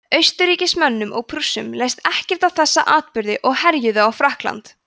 austurríkismönnum og prússum leist ekkert á þessa atburði og herjuðu á frakkland